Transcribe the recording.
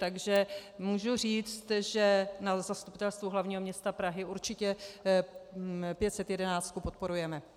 Takže můžu říct, že na Zastupitelstvu hlavního města Prahy určitě 511 podporujeme.